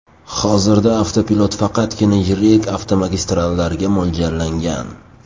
Hozirda avtopilot faqatgina yirik avtomagistrallarga mo‘ljallangan.